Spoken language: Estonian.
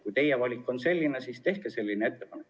Kui teie valik on selline, siis tehke selline ettepanek.